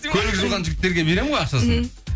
көлік жуған жігіттерге беремін ғой ақшасын мхм